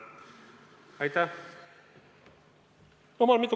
Aitäh!